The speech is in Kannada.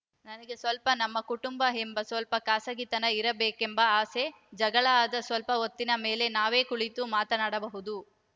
ನನಗೆ ಸ್ವಲ್ಪ ನಮ್ಮ ಕುಟುಂಬ ಎಂಬ ಸ್ವಲ್ಪ ಖಾಸಗಿತನ ಇರಬೇಕೆಂಬ ಆಸೆ ಜಗಳ ಆದ ಸ್ವಲ್ಪ ಹೊತ್ತಿನ ಮೇಲೇ ನಾವೇ ಕುಳಿತು ಮಾತನಾಡಬಹುದು